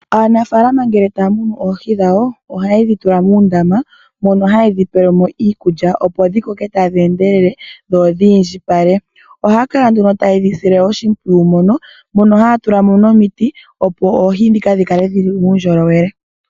Aanafaalama ngele taya munu oohi dhawo ohaye dhi tula muundama mono haye dhi pelemo iikulya opo dhikoke tadhi endelele dho dhi indjipale. Ohaya kala nduno tayedhi sile oshimpwiyu mono haya tulamo nomiti opo oohi dhi kale dhina uundjolowele.